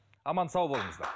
аман сау болыңыздар